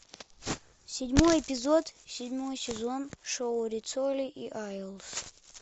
седьмой эпизод седьмой сезон шоу риццоли и айлс